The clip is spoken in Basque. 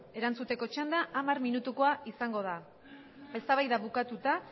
erantzuteko txanda hamar minutukoa izango da eztabaida bukatuta